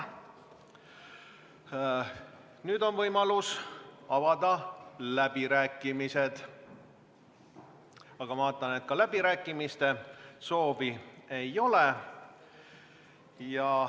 Nüüd on võimalus avada läbirääkimised, aga vaatan, et ka läbirääkimise soovi ei ole.